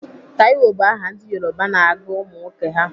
Taiwo bụ aha ndị Yoruba na-agụ ụmụnwoke ha.